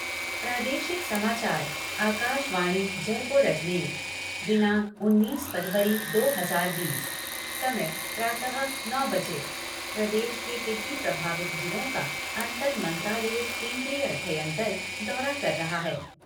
प्रादेशिक समाचार आकाश वाणी जयपुर अजमेर दीनांक उननीस फ़रवरी दो हज़ार बीस समय प्रातः नौ बजे प्रदेश के टिड्डी प्रभावित जिलों का अंतर मंत्रालयिक केन्द्रीय अध्ययन दल दौरा कर रहा है।